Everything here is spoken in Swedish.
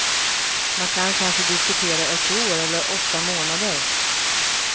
Man kan kanske diskutera ett år eller åtta månader.